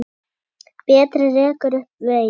Berti rekur upp vein.